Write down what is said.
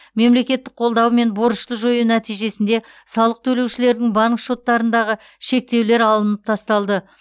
мемлекеттік қолдаумен борышты жою нәтижесінде салық төлеушілердің банк шоттарындағы шектеулер алынып тасталды